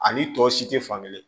Ani tɔ si tɛ fankelen